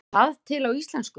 Er það til á íslensku?